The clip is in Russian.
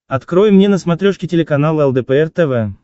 открой мне на смотрешке телеканал лдпр тв